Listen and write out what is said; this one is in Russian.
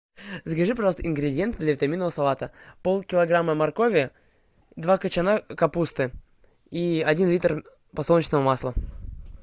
закажи пожалуйста ингредиенты для витаминного салата пол килограмма моркови два кочана капусты и один литр подсолнечного масла